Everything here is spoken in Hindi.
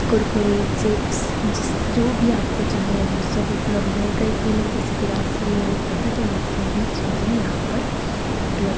कुरकुरे चिप्स जिस जो भी आपको चाहिए वह सब उपलब्ध है कई-कई लोग जैसे कि रासरी है वह खाते हैं तो वह सभी चीजें यहाँ पर उपलब्ध--